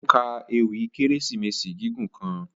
O ka èwi Keresimesi gigun kan.